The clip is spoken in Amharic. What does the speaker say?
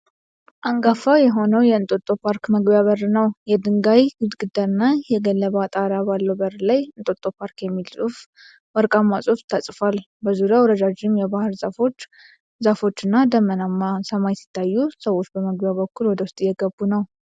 አንጋፋ የሆነው የእንጦጦ ፓርክ መግቢያ በር ነው። የድንጋይ ግድግዳና የገለባ ጣራ ባለው በር ላይ "እንጦጦ ፓርክ" የሚል ወርቃማ ጽሁፍ ተጽፏል። በዙሪያው ረዣዥም የባህር ዛፍ ዛፎችና ደመናማ ሰማይ ሲታዩ፣ ሰዎች በመግቢያው በኩል ወደ ውስጥ እየገቡ ነው።